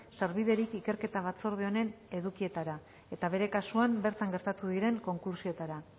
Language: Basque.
sarbiderik ikerketa batzorde honen edukietara eta bere kasuan bertan gertatu diren konklusioetara